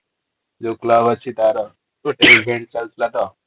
ଯୋଉ club ଅଛି ତାର ଚାଲିଥିଲା ତ ।